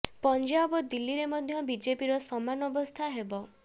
ପଂଜାବ ଓ ଦିଲ୍ଲୀରେ ମଧ୍ୟ ବିଜେପିର ସମାନ ଅବସ୍ଥା ହେବ